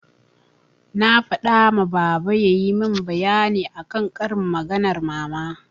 Na faɗa ma baba yayi min bayani akan karin maganar mama.